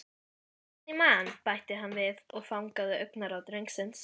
Meðan ég man- bætti hann við og fangaði augnaráð drengsins.